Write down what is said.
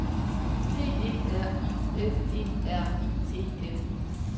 P E R I F E R I E N